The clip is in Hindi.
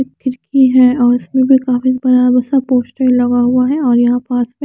किसकी है और इसमें भी कागज़ भरा हुआ है वो सब पोस्टर लगा हुआ है और यहाँ पास में --